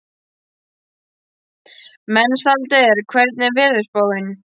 Mensalder, hvernig er veðurspáin?